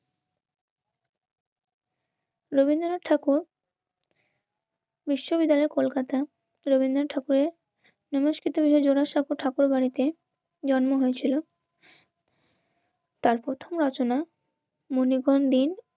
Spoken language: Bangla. রবীন্দ্রনাথ ঠাকুর বিশ্ববিদ্যালয় কলকাতা রবীন্দ্রনাথ ঠাকুরের জোড়াসাঁকো ঠাকুরবাড়িতে জন্ম হয়েছিল তার প্রথম রচনা মনিবন দিন